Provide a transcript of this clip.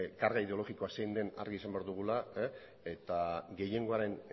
karga ideologikoa zein den argi izan behar dugula eta gehiengoaren